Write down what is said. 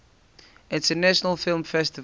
international film festival